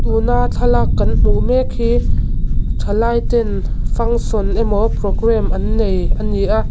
tuna thlalak kan hmuh mek hi thalaiten function emaw program an nei a ni a.